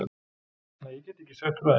Nei, ég get ekki sagt frá því.